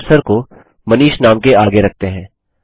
चलिए कर्सर को मनीष नाम के आगे रखते हैं